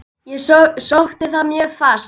Ég sótti það mjög fast.